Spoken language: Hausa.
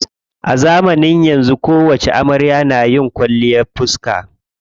A zamanin yanzu kowacce amarya na yi kwalliyar fiska.